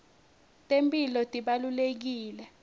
temphilo tibalulekile